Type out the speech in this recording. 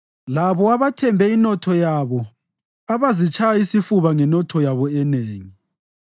labo abathembe inotho yabo abazitshaya isifuba ngenotho yabo enengi?